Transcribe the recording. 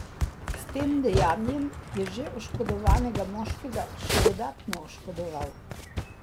S tem dejanjem je že oškodovanega moškega še dodatno oškodoval.